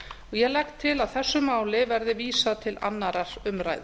ég legg til að þessu máli verði vísað til annarrar umræðu